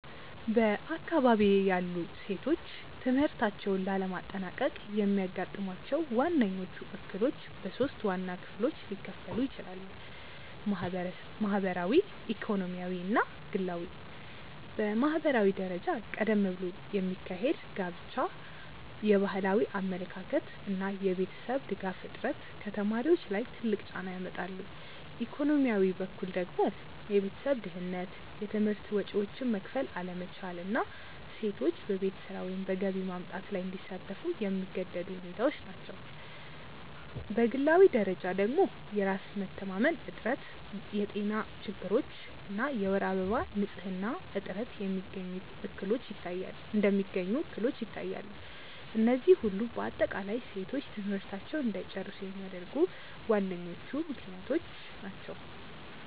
በአካባቢዬ ያሉ ሴቶች ትምህርታቸውን ላለማጠናቀቅ የሚያጋጥሟቸው ዋነኞቹ እክሎች በሶስት ዋና ክፍሎች ሊከፈሉ ይችላሉ። ማህበራዊ፣ ኢኮኖሚያዊ እና ግላዊ። በማህበራዊ ደረጃ ቀደም ብሎ የሚካሄድ ጋብቻ፣ የባህላዊ አመለካከት እና የቤተሰብ ድጋፍ እጥረት ከተማሪዎች ላይ ትልቅ ጫና ያመጣሉ፤ ኢኮኖሚያዊ በኩል ደግሞ የቤተሰብ ድህነት፣ የትምህርት ወጪዎችን መክፈል አለመቻል እና ሴቶች በቤት ስራ ወይም በገቢ ማምጣት ላይ እንዲሳተፉ የሚገደዱ ሁኔታዎች ናቸው፤ በግላዊ ደረጃ ደግሞ የራስ መተማመን እጥረት፣ የጤና ችግሮች እና የወር አበባ ንፅህና እጥረት እንደሚገኙ እክሎች ይታያሉ፤ እነዚህ ሁሉ በአጠቃላይ ሴቶች ትምህርታቸውን እንዳይጨርሱ የሚያደርጉ ዋነኞቹ ምክንያቶች ናቸው።